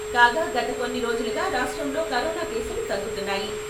కాగా గత కొన్ని రోజులుగా రాష్ట్రంలో కరోనా కేసులు తగ్గుతున్నాయి.